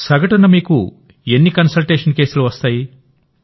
సగటునమీకు teleconsultation కేసులు ఎన్ని వస్తాయి